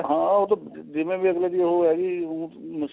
ਹਾਂ ਉਹ ਤਾਂ ਜਿਵੇਂ ਵੀ ਅਗਲੇ ਦੀ ਉਹ ਹੈਗੀ ਆ